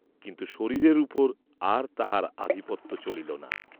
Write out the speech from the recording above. কিন্তু শরীরের উপর আর তাঁহার আধিপত্য চলিল না।